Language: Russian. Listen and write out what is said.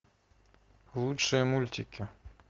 лучшие мультики